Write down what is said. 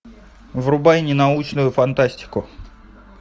врубай ненаучную фантастику